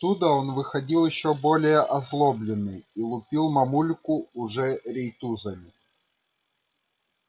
оттуда он выходил ещё более озлобленный и лупил мамульку уже рейтузами